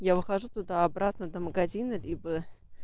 я выхожу туда обратно до магазина либо